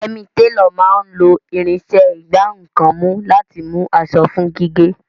Yẹmì, télọ̀ máa ń lo irinṣẹ́ ìgbá nǹkan mú láti mú aṣọ fún gígé